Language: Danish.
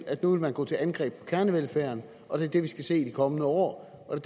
at nu vil man gå til angreb på kernevelfærden og det er det vi skal se i de kommende år og